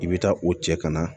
I bɛ taa o cɛ ka na